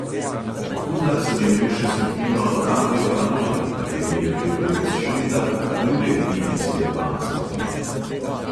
Po kuzlah sem imel še skupino radio panoi, v kateri je pel pevec šunda, druge idrijske pank skupine.